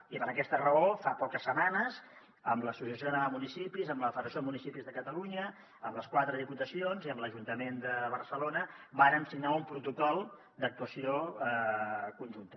i per aquesta raó fa poques setmanes amb l’associació catalana de municipis amb la federació de municipis de catalunya amb les quatre diputacions i amb l’ajuntament de barcelona vàrem signar un protocol d’actuació conjunta